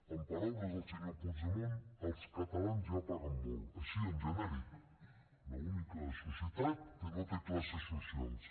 en paraules del senyor puigdemont els catalans ja paguen molt així en genèric l’única societat que no té classes socials